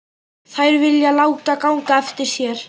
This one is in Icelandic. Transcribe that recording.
Þær vilja láta ganga eftir sér.